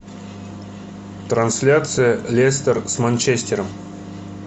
трансляция лестер с манчестером